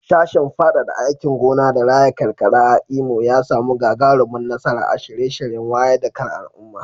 Sashen fadada aikin gona da raya karkara a Imo ya samu gagarumar nasara a shirye-shiryen wayar da kan al'umma.